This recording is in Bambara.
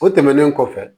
O tɛmɛnen kɔfɛ